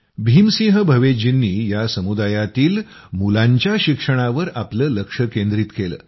भीम सिंह भवेश जींनी या समुदायातील मुलांच्या शिक्षणावर आपलं ध्यान केंद्रीत केलं